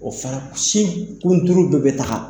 O fana k sin kunturu do be ta ka